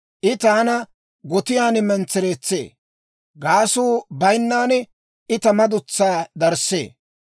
I taana gotiyaan mentsereetsee; gaasuu bayinnan I ta madutsaa darissee.